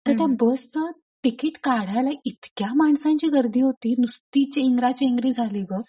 तर त्या बसच तिकीट काढायला इतक्या माणसांची गर्दी होती नुसती चेंगराचेंगरी झाली गं